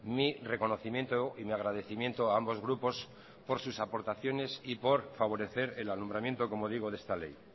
mi reconocimiento y mi agradecimiento a ambos grupos por sus aportaciones y por favorecer el alumbramiento como digo de esta ley